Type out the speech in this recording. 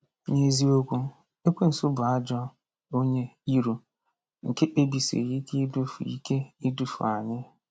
N’eziokwu, Ekwensu bụ ajọ onye iro nke kpebisiri ike idufu ike idufu anyị.